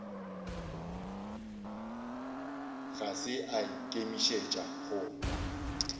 ga se a ikemišetša go